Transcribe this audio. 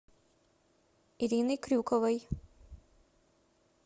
ириной крюковой